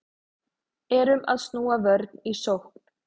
Erum að snúa vörn í sókn